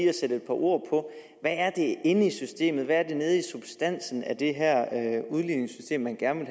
at sætte et par ord på hvad er det inde i systemet hvad er det nede i substansen af det her udligningssystem man gerne